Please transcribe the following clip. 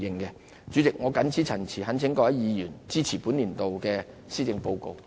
代理主席，我謹此陳辭，懇請各位議員支持本年度的施政報告。